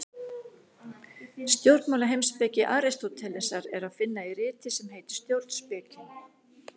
Stjórnmálaheimspeki Aristótelesar er að finna í riti sem heitir Stjórnspekin.